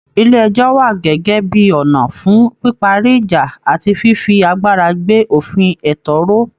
Ilé ẹjọ́ wà gẹ́gẹ́ bí ọ̀nà fún píparí ìjà àti fífi agbára gbé òfin ẹ̀tọ́ ró